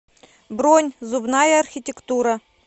бронь зубная архитектура